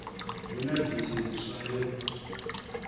hu na bisi ntswa yo